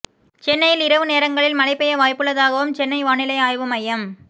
சென்னையில் இரவு நேரங்களில் மழை பெய்ய வாய்ப்புள்ளதாகவும் சென்னை வானிலை ஆய்வு மையம்